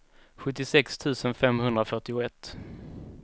sjuttiosex tusen femhundrafyrtioett